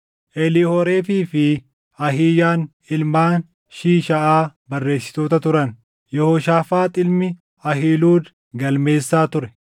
Eliihoorefii fi Ahiiyaan, ilmaan Shiishaaʼaa barreessitoota turan; Yehooshaafaax ilmi Ahiiluud galmeessaa ture;